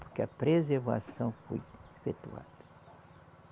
Porque a preservação foi efetuada.